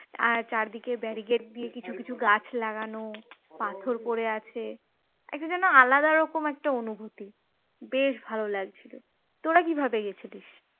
আর চারিদিকে barricade দিয়ে কিছু কিছু গাছ লাগানো পাথর পড়ে আছে একটা যেন আলাদা রকম একটা অনুভূতি বেশ ভালো লাগছিল, তোরা কিভাবে গেছিলিস?